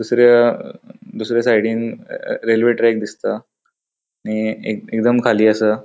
दुसर्या दुसर्या साइडीन रेल्वे ट्रैक दिसता आणि ए एकदम खाली असा.